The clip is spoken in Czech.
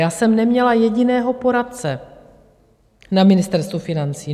Já jsem neměla jediného poradce na Ministerstvu financí.